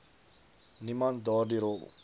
niemand daardie rol